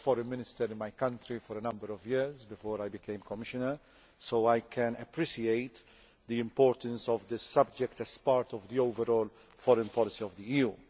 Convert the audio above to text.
I was Foreign Minister in my country for a number of years before I became a Commissioner, so I can appreciate the importance of this subject as part of the overall foreign policy of the EU.